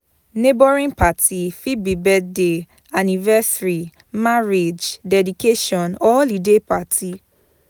Neighbouring parti fit be birthday anniversary marriage dedication or holiday parti